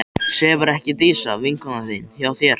Sefur ekki Dísa, vinkona þín, hjá þér?